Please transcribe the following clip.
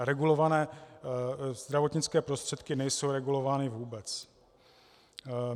A regulované zdravotnické prostředky nejsou regulovány vůbec.